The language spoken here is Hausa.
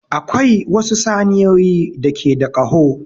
Akwai wasu saniyoyi da ke da ƙaho.